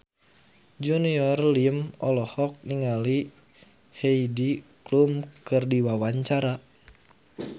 Junior Liem olohok ningali Heidi Klum keur diwawancara